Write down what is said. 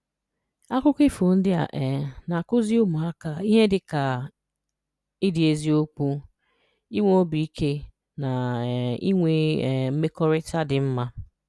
Akụkọ ifo ndị a um na-akụzi ụmụaka ihe dịka ịdị n’eziokwu, inwe obi ike, na um inwe um mmekọrịta dị mma.